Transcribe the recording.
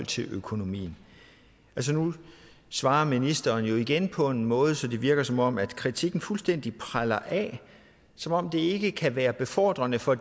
til økonomien nu svarer ministeren jo igen på en måde så det virker som om kritikken fuldstændig preller af som om det ikke kan være befordrende for